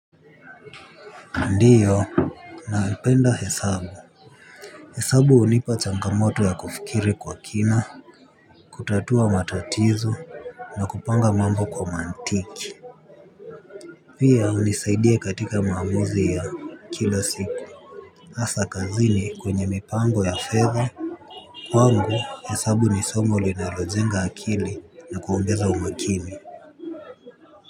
Ndiyo naipenda hesabu. Hesabu hunipa changamoto ya kufikiri kwa kina. Kutatua matatizo. Na kupanga mambo kwa mantiki. Pia hunisaidia katika maamuzi ya kila siku hasa kazini kwenye mipango ya fedha. Kwangu hesabu nisomo linalojenga akili na kuongeza umakini.